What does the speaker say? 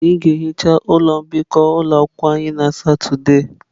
Anyị ga-ehicha ụlọ mbikọ ụlọ akwụkwọ anyị na Satọde a.